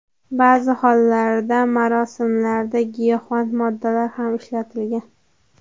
Ba’zi hollarda marosimlarda giyohvand moddalar ham ishlatilgan.